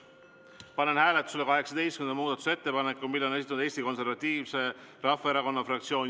Panen hääletusele 18. muudatusettepaneku, mille on esitanud Eesti Konservatiivse Rahvaerakonna fraktsioon.